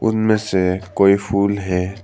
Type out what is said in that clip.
इनमें से कोई फूल है।